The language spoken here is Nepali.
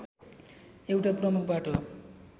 एउटा प्रमुख बाटो